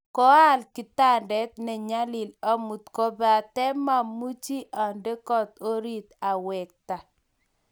Koa al kitandet ne nyalil amut kobate maamuch ande kot orit, awekte.